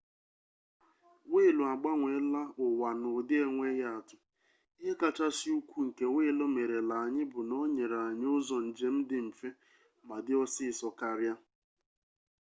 wiilu agbanweela ụwa n'ụdị enweghị atụ ihe kachasị ukwu nke wiilu merela anyị bụ na o nyere anyị ụzọ njem dị mfe ma dị ọsịsọ karịa